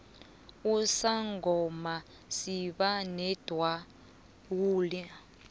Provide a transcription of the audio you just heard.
usangoma siba nendawula